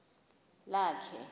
lakhe